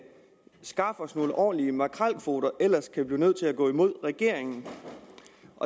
skaf os nogle ordentlige makrelkvoter ellers vi blive nødt til at gå imod regeringen